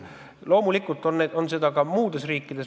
Loomulikult on selliseid juhtumeid ka muudes riikides.